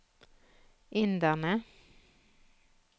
inderne